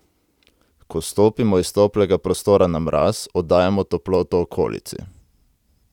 Ko stopimo iz toplega prostora na mraz, oddajamo toploto okolici.